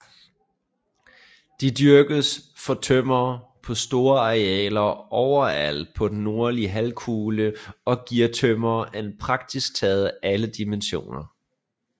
De dyrkes for tømmer på store arealer overalt på den nordlige halvkugle og giver tømmer i praktisk taget alle dimensioner